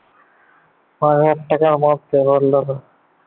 পাঁচ হাজার টাকার মধ্যে loan নেবে ।